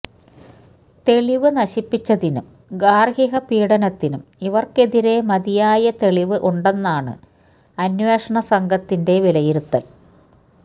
തെളിവ് നശിപ്പിച്ചതിനും ഗാർഹിക പീഡനത്തിനും ഇവർക്കെതിരെ മതിയായ തെളിവ് ഉണ്ടെന്നാണ് അന്വേഷണ സംഘത്തിന്റെ വിലയിരുത്തൽ